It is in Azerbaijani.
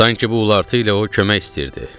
Sanki bu ulartı ilə o kömək istəyirdi.